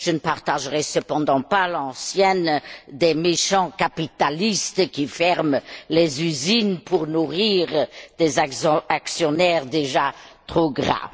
Je ne partagerai cependant pas l'antienne des méchants capitalistes qui ferment les usines pour nourrir des actionnaires déjà trop gras.